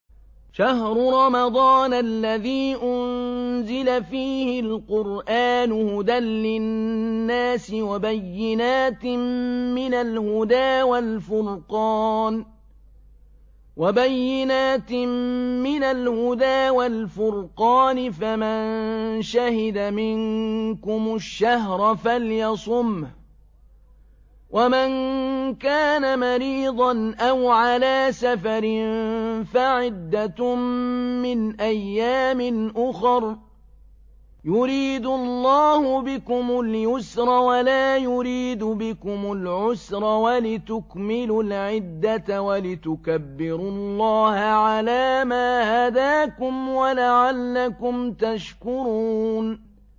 شَهْرُ رَمَضَانَ الَّذِي أُنزِلَ فِيهِ الْقُرْآنُ هُدًى لِّلنَّاسِ وَبَيِّنَاتٍ مِّنَ الْهُدَىٰ وَالْفُرْقَانِ ۚ فَمَن شَهِدَ مِنكُمُ الشَّهْرَ فَلْيَصُمْهُ ۖ وَمَن كَانَ مَرِيضًا أَوْ عَلَىٰ سَفَرٍ فَعِدَّةٌ مِّنْ أَيَّامٍ أُخَرَ ۗ يُرِيدُ اللَّهُ بِكُمُ الْيُسْرَ وَلَا يُرِيدُ بِكُمُ الْعُسْرَ وَلِتُكْمِلُوا الْعِدَّةَ وَلِتُكَبِّرُوا اللَّهَ عَلَىٰ مَا هَدَاكُمْ وَلَعَلَّكُمْ تَشْكُرُونَ